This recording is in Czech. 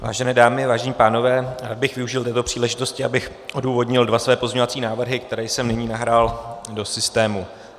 Vážené dámy, vážení pánové, rád bych využil této příležitosti, abych odůvodnil dva své pozměňovací návrhy, které jsem nyní nahrál do systému.